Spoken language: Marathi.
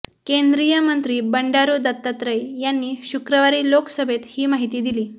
केंद्रीय मंत्री बंडारू दत्तात्रय यांनी शुक्रवारी लोकसभेत ही माहिती दिली